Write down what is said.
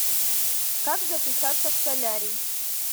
как записаться в солярий